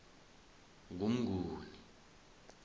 ngumnguni